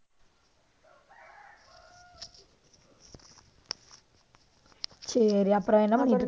சரி, அப்புறம் என்ன பண்ணிட்டிருக்க நீ?